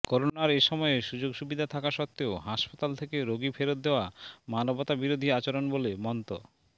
করোনার এ সময়ে সুযোগসুবিধা থাকা সত্ত্বেও হাসপাতাল থেকে রোগী ফেরত দেয়া মানবতাবিরোধী আচরণ বলে মন্ত